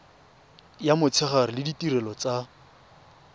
ya motshegare le ditirelo tsa